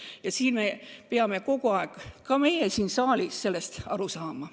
Ja ka meie peame siin saalis sellest aru saama.